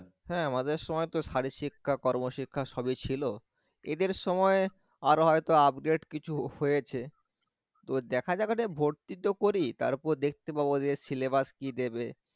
হ্যাঁ আমাদের সময় তো শারীরিক শিক্ষা কর্মশিক্ষা সবই ছিল এদের সময়ে আরো হয়তো upgrade কিছু হয়েছে তো দেখা যাক আগে ভর্তি তো করি তারপর দেখতে পাবো যে syllabus কি দেবে